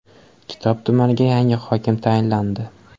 Kitob tumaniga yangi hokim tayinlandi.